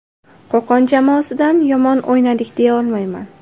Qo‘qon jamoasidan yomon o‘ynadik deya olmayman.